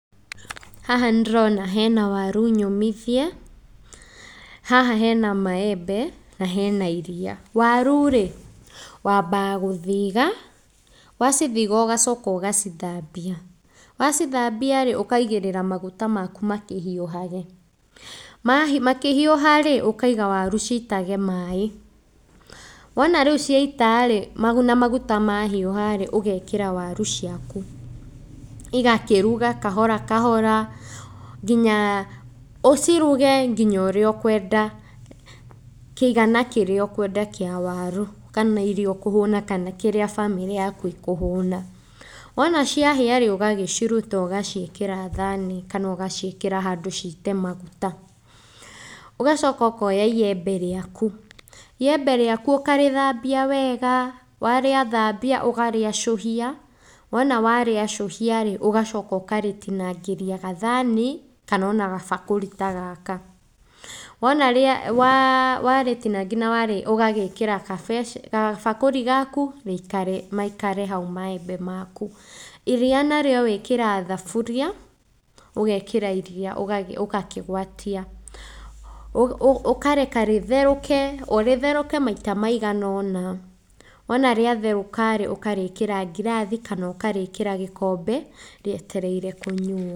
Haha nĩndĩrona hena waru nyũmithie, haha hena maembe na hena iriia, waru rĩ wambaga gũthĩga, wacithiga ũgacoka ũgacithambia, wacithambia rĩ, ũkaigĩrĩra maguta maku makĩhiũhahe, makĩhiuha rĩ ũkaiga waru citage maĩ, wona rĩũ ciaita rĩ namaguta mahiũha rĩ, ũgekĩra waru ciaku, igakĩruga kahora kahora nginya ũciruge ũrĩa ũkwenda, kĩigana kĩrĩa kũwenda kĩa waru kana irio iria ũkũhũna kana kĩrĩa bamĩrĩ ĩkũhũna, wona ciahĩrĩ ũgaciruta ũgaciĩkĩra thani kana ũgaciĩkĩra handũ cite maguta ,ũgacoka ũkoya iembe rĩaku, riembe rĩaku ũkarĩthambia wega, warĩthambia ũkarĩacuhia, wona warĩacuhia rĩ ũgacoka ũkarĩtinangia kathani kana ona kabakũri ta gaka, wona warĩtinangia ũgagĩkĩra kabakũri gaku maikare hau maembe maku, iria narĩo wĩkĩraga thaburia ũgekĩra iriia ũgakĩgwatia, ũkareka rĩtheruke, rĩtheruke maita maiga ona, wona rĩatherũka rĩ, ũkarĩkĩra ngirathi kana ũkarĩkĩra gĩkombe rĩetereire kũnyuo.